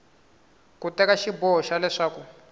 ku teka xiboho xa leswaku